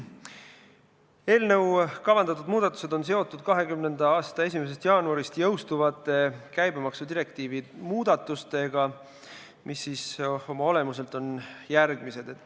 Eelnõuga kavandatud muudatused on seotud 2020. aasta 1. jaanuarist jõustuvate käibemaksudirektiivi muudatustega, mis oma olemuselt on järgmised.